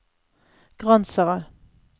Gransherad